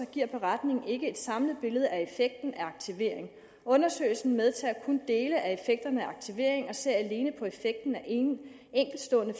giver beretningen ikke et samlet billede af af aktivering undersøgelsen medtager kun dele af effekterne af aktivering og ser alene på effekten af enkeltstående